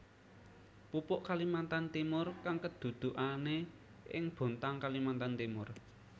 Pupuk Kalimantan Timur kang kedudukane ing Bontang Kalimantan Timur